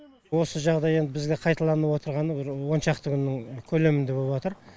осы жағдай енді бізде қайталанып отырғанына бір он шақты күннің көлемінде болып отыр